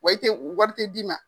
Wa i te, wari te d'i ma.